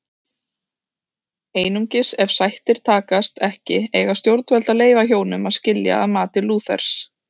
Einungis ef sættir takast ekki eiga stjórnvöld að leyfa hjónum að skilja að mati Lúthers.